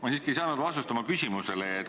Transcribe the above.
Ma siiski ei saanud oma küsimusele vastust.